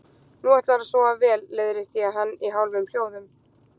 Nú ætlarðu að sofa vel, leiðrétti ég hann í hálfum hljóðum.